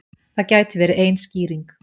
Það gæti verið ein skýring.